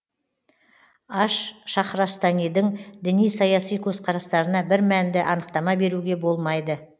аш шахрастанидің діни саяси көзқарастарына бір мәнді анықтама беруге болмайды